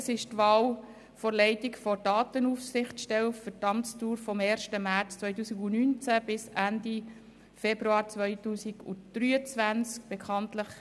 Es geht um die Wahl für die Leitung der Datenaufsichtsstelle für die Amtsdauer vom 1. März 2019 bis Ende Februar 2023.